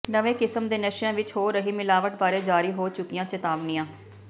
ਨਵੇਂ ਕਿਸਮ ਦੇ ਨਸ਼ਿਆਂ ਵਿਚ ਹੋ ਰਹੀ ਮਿਲਾਵਟ ਬਾਰੇ ਜਾਰੀ ਹੋ ਚੁੱਕੀਆਂ ਚੇਤਾਵਨੀਆਂ